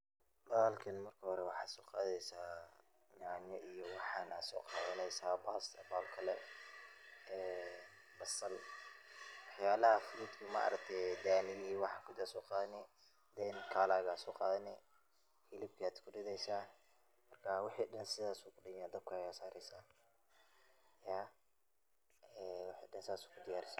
Bahalkan marka hore waxaa soo qadeysaa nyanya iyo waxan aa soo qadaneysaa, basal iyo wax yabaha fruit ka ma aragte daniya iyo waxan baa soo qadani then color ga baa soo qadani ,hilibkaad ku rideysaa ,markaa wixi dhan saas uu ku dhan yahay ,dabkaada aad sareysaa ,iyaa wixi dhan saas uu ku diyaar san yahay.